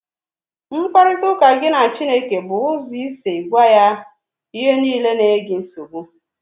Mkparịta ụka gị na Chineke bụ ụzọ isi gwa ya ihe niile na-enye gị nsogbu